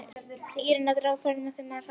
Ég reyni að draga úr ferðinni með því að hrasa.